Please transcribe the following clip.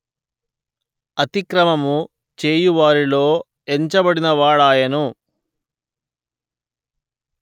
అతిక్రమము చేయువారిలో ఎంచబడినవాడాయెను